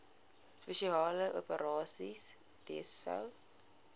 spesiale operasies dso